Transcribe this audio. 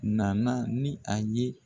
Na na ni a ye.